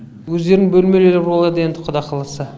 өздерінің бөлмелері болады енді құда қаласа